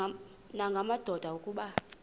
nanga madoda kuba